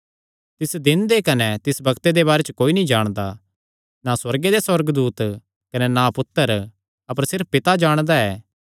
तिस दिन दे कने तिस बग्त दे बारे च कोई नीं जाणदा ना सुअर्गे दे सुअर्गदूत कने ना पुत्तर अपर सिर्फ पिता जाणदा ऐ